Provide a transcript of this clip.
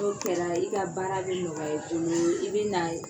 N' o kɛra i ka baara bɛ nɔgɔya i boloo i bɛ na ye